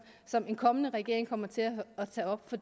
som en kommende regering kommer til at tage op for